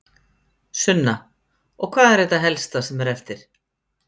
Sunna: Og hvað er þetta helsta sem er eftir?